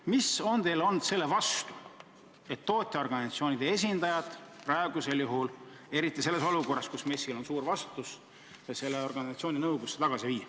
Mis on teil olnud selle vastu, et tootjaorganisatsioonide esindajad oleksid nõukogus tagasi, eriti praeguses olukorras, kus MES-il on väga suur vastutus?